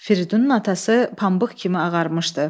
Fridunun atası pambıq kimi ağarmışdı.